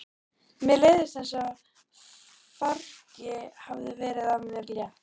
Mér leið eins og fargi hefði verið af mér létt.